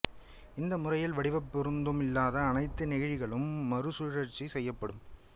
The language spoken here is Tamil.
இந்த முறையில் வடிவப்பொருந்தும் இல்லாத அனைத்து நெகிழிகளும் மறுசுழற்சி செய்யப்படும்